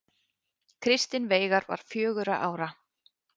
Kristinn Veigar var fjögurra ára.